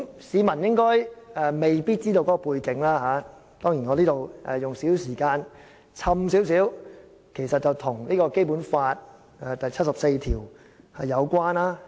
市民未必清楚背景，我在此花少許時間解釋，這其實和《基本法》第七十四條有關的。